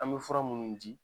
An be fura munnu di